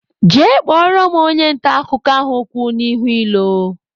Jee kpọrọ m onye nta akụkọ ahụ kwụ n'ihu ilo!